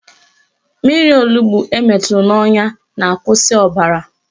Mmiri onugbo emeturu n'ọnya na-akwụsị ọbara